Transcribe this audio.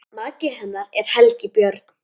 Maki hennar er Helgi Björn.